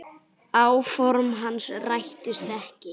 Áform hans rættust ekki.